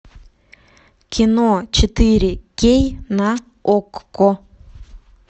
кино четыре кей на окко